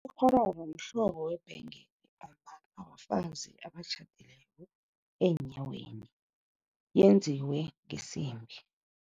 Ikghororo mhlobo webhengele ombathwa bafazi abatjhadileko eenyaweni, yenziwe ngesimbi.